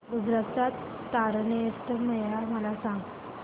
गुजरात चा तारनेतर मेळा मला सांग